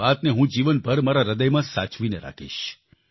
એ વાતને હું જીવનભર મારા હ્રદયમાં સાચવીને રાખીશ